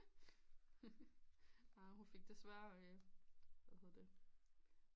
Hun fik desværre hvad hedder der